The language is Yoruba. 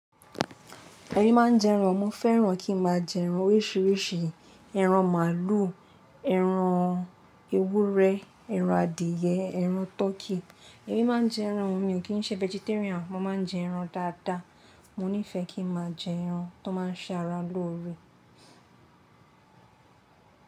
Èmi máa ń jẹ ẹran. Mo fẹ́ràn kí ń máa jẹ ẹran oríṣiríṣi, ẹran màlúù, ẹran ewúrẹ́, ẹran adìẹ, ẹran turkey Èmi máa ń jẹ ẹran, mi ò kí ń ṣe vegetarian. Mo máa ń jẹ ẹran dáadáa. Mo nífẹ̀ẹ́ kí ń máa jẹ ẹran tó máa ń ṣe ara lóore.